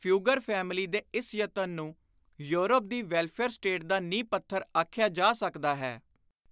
Fugger family ਦੇ ਇਸ ਯਤਨ ਨੂੰ ਯੂਰਪ ਦੀ ਵੈਲਫ਼ੇਅਰ-ਸਟੇਟ ਦਾ ਨੀਂਹ-ਪੱਥਰ ਆਖਿਆ ਜਾ ਸਕਦਾ ਹੈ।